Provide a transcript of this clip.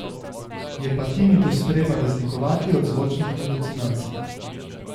Je pa tinitus treba razlikovati od zvočnih halucinacij.